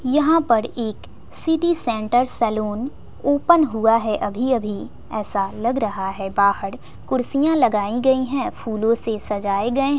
यहां पर एक सिटी सेंटर सैलून ओपन हुआ है अभी अभी ऐसा लग रहा है बाहर कुर्सियां लगाई गई है फूलों से सजाए गए--